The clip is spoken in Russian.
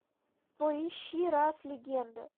поищи раз легенда